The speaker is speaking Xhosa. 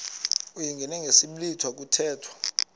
uyingene ngesiblwitha kuthethwa